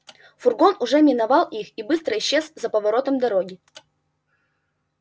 фургон уже миновал их и быстро исчез за поворотом дороги